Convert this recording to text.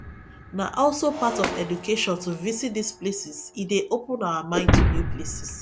na also part of education to visit these places e dey open our mind to new places